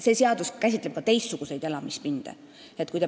See seadus käsitleb ka teistsuguseid elamispindu.